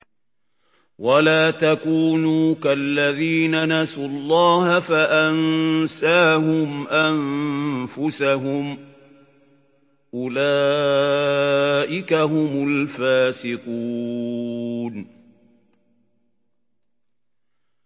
وَلَا تَكُونُوا كَالَّذِينَ نَسُوا اللَّهَ فَأَنسَاهُمْ أَنفُسَهُمْ ۚ أُولَٰئِكَ هُمُ الْفَاسِقُونَ